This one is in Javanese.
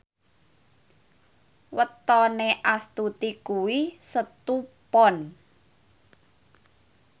wetone Astuti kuwi Setu Pon